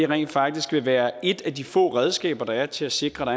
rent faktisk være et af de få redskaber der er til at sikre